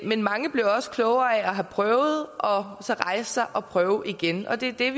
men mange bliver også klogere af at have prøvet og så rejser og prøver igen og det er